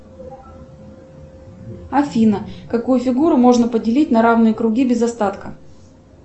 афина какую фигуру можно поделить на равные круги без остатка